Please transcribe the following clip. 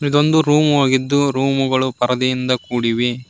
ಇದೊಂದು ರೂಮು ಆಗಿದ್ದು ರೂಮು ಗಳು ಪರದೆಯಿಂದ ಕೂಡಿವೆ.